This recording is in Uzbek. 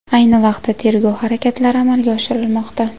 Ayni vaqtda tergov harakatlari amalga oshirilmoqda.